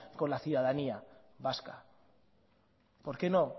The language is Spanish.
con la ciudadanía vasca por qué no